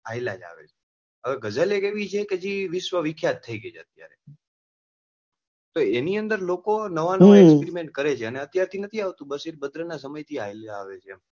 હવે ગઝલ એક એવી છે કે જે વિસ્વ્વિખ્યાત થઇ ગઈ છે અત્યારે તો એની અંદર લોકો નવા નવા agreement કરે છે અને અત્યાર થી નથી આવતું છેક બદ્ર નાં સમય થી ચાલી આવી છે ચાલ્યા જ આવે છે.